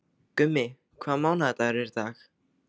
Gummi, hvaða mánaðardagur er í dag?